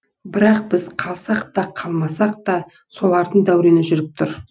бірақ біз қаласақ та қаламасақ та солардың дәурені жүріп тұр